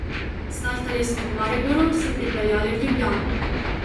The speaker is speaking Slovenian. Startali smo v Mariboru, se pripeljali v Ljubljano.